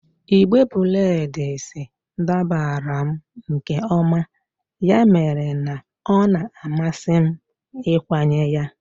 Igbe breds dabara m nke ọma, ya mere na ọ na-amasị m ịkwanye ya.